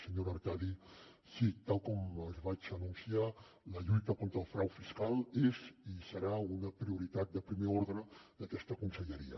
senyora artadi sí tal com els vaig anunciar la lluita contra el frau fiscal és i serà una prioritat de primer ordre d’aquesta conselleria